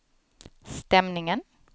stämningen